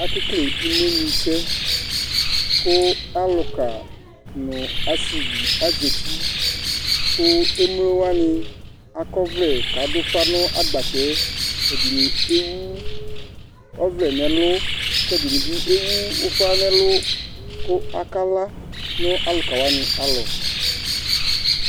Aka ekele imenu sɛ, ku alukà nu asívì azati, ku emlowa ni akɔ ɔvlɛ k'adu ufa nu agbatɛ, ɛdini ewu ɔvlɛ n'ɛlu, k'ɛdini bi ewu ufa n'ɛlu ku akalã nu alukawani alɔ̃